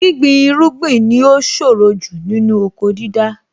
Gbíngbin irúgbìn ni ó ṣòro jù nínú oko dídá.